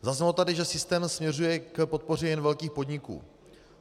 Zaznělo tady, že systém směřuje k podpoře jen velkých podniků.